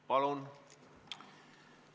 Palun!